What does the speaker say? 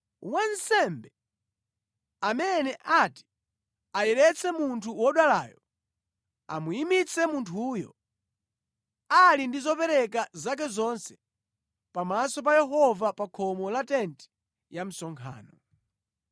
Wansembe amene ati ayeretse munthu wodwalayo amuyimitse munthuyo ali ndi zopereka zake zonse pamaso pa Yehova pa khomo la tenti ya msonkhano.